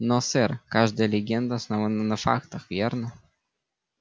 но сэр каждая легенда основана на фактах верно